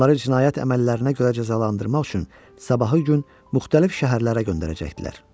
Bunları cinayət əməllərinə görə cəzalandırmaq üçün sabahı gün müxtəlif şəhərlərə göndərəcəkdilər.